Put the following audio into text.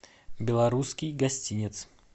белорусский гостинец